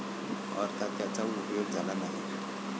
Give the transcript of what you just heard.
अर्थात त्याचा उपयोग झाला नाही.